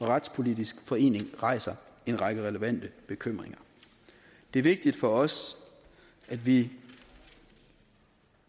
retspolitisk forening rejser en række relevante bekymringer det er vigtigt for os at vi